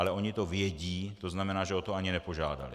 Ale ony to vědí, to znamená, že o to ani nepožádaly.